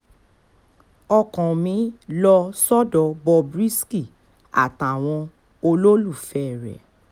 ọkàn mi lọ sọ́dọ̀ bob risky àtàwọn olólùfẹ́ rẹ̀